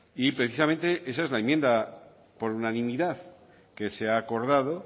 y precisamente esa es la enmienda por unanimidad que se ha acordado